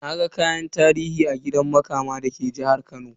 Naga kayan tarihi a gidan Makama da ke jihar Kano.